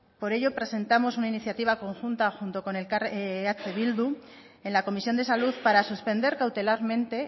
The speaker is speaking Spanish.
por ello presentamos una iniciativa conjunta junto con eh bildu en la comisión de salud para suspender cautelarmente